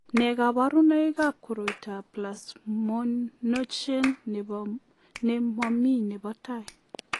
Nee kabarunoikab koroitoab plasminogen ne momii nebo tai?